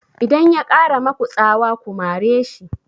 Idan ya ƙara maku tsawa ku mare shi!